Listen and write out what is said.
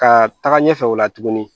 Ka taga ɲɛfɛ o la tuguni